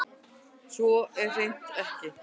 Svo er hreint ekki